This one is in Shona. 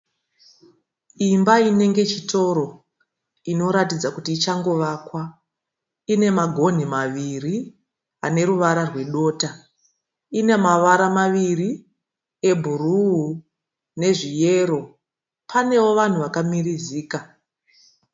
Imba inenge chitoro inoratidza kuti ichangovakwa. Ine magonhi maviri aneruvara rwedota. Inemavara maviri ebhuruu nezviyero. Panewo vanhu vakamirizika.